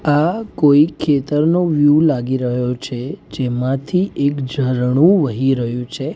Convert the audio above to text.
આ કોઈ ખેતરનો વ્યૂ લાગી રહ્યો છે જેમાંથી એક ઝરણુ વહી રહ્યુ છે.